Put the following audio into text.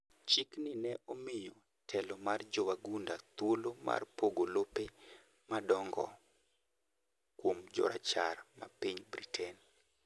chik ni ne omiyo telo ma jowagunda thuolo mar pogo lope madong'o kuom jorachar ma piny Britain